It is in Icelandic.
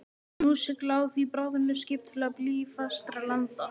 Nú sigla á því bráðnuð skip til blýfastra landa.